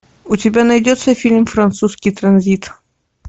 у тебя найдется фильм французский транзит